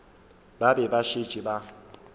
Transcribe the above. ba be ba šetše ba